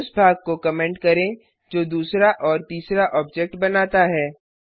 फिर उस भाग को कमेंट करें जो दूसरा और तीसरा ऑब्जेक्ट बनाता है